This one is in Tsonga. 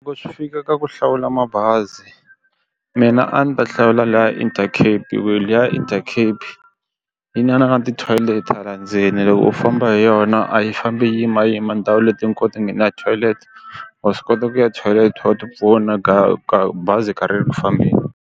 Loko swi fika ka ku hlawula mabazi mina a ndzi ta hlawula laya Intercape hi ku liya Intercape yi na na na ti toilet hala ndzeni loko u famba hi yona a yi fambi yimayima ndhawu leti hinkwato na toilet wa swi kota ku ya toilet u ti pfuna ga ka bazi karhele ku fambeni.